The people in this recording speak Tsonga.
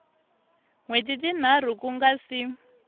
wheti tinharhu ku nga si